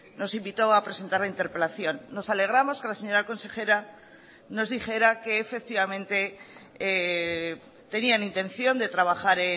nos invitó a presentar la interpelación nos alegramos que la señora consejera nos dijera que efectivamente tenían intención de trabajar